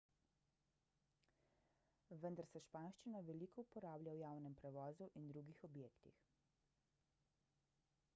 vendar se španščina veliko uporablja v javnem prevozu in drugih objektih